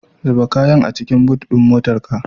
Zuba kayan a cikin but ɗin motarta.